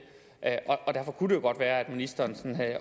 kunne godt være at ministeren